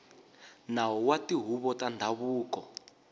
nawu wa tihuvo ta ndhavuko